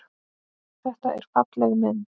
Þetta er falleg mynd.